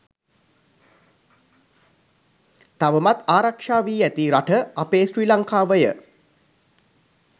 තවමත් ආරක්‍ෂා වී ඇති රට අපේ ශ්‍රී ලංකාවය.